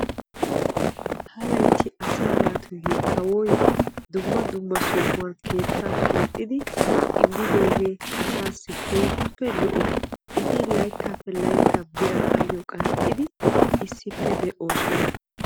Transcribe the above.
HA laytti asaa naatussi kawoy dumma dumma sohuwan keetta keexiddi immoge keehippe lo'o. Asaykka layttappe layttan assi bira qanxxosonna.